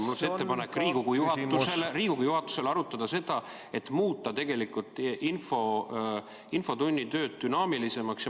Mul on ettepanek Riigikogu juhatusele: Riigikogu juhatus võiks arutada, kuidas muuta infotunni töö dünaamilisemaks.